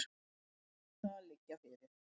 Í kvöld mun niðurstaðan liggja fyrir